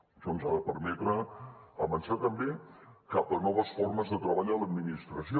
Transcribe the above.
això ens ha de permetre avançar també cap a noves formes de treball en l’administració